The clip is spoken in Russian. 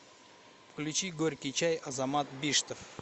включи горький чай азамат биштов